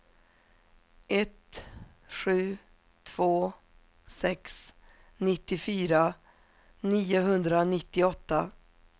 ett sju två sex nittiofyra niohundranittioåtta